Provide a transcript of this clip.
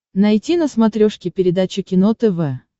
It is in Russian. найти на смотрешке передачу кино тв